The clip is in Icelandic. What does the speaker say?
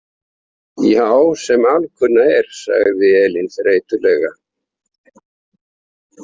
Já, sem alkunna er, sagði Elín þreytulega.